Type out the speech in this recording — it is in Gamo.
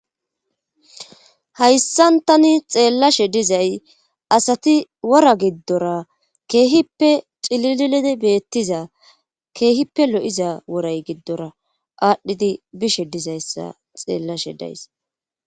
hayssantani xeellashe dizay asati wora giddora keehippe cililidi beettiza keehippe lo7iza woray giddora aadhdhidi bishe dizayssa xeellashe days